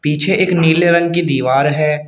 पीछे एक नीले रंग की दीवार है।